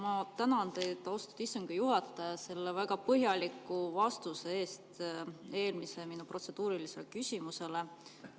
Ma tänan teid, austatud istungi juhataja, selle väga põhjaliku vastuse eest minu eelmisele protseduurilisele küsimusele.